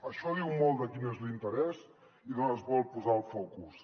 això diu molt de quin és l’interès i d’on es vol posar el focus